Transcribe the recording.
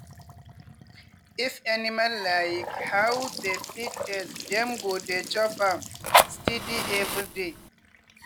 if animal like how the feed taste dem go dey chop am steady every day.